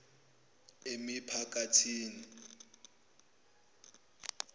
emiphakathini